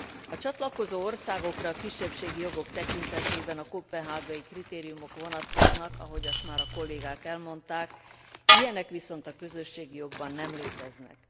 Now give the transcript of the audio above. A csatlakozó országokra kisebbségi jogok tekintetében a koppenhágai kritériumok vonatkoznak ahogy azt már a kollégák elmondták ilyenek viszont a közösségi jogban nem léteznek.